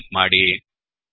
ಎಂದು ಟೈಪ್ ಮಾಡಿ